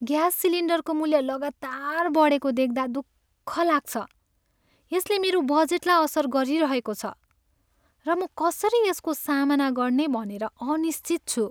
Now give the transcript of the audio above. Gas सिलिन्डरको मूल्य लगातार बढेको देख्दा दुःख लाग्छ । यसले मेरो बजेटलाई असर गरिरहेको छ, र म कसरी यसको सामना गर्ने भनेर अनिश्चित छु।